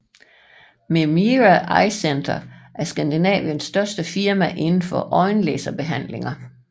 Memira Eyecenter er Skandinaviens største firma inden for øjenlaserbehandlinger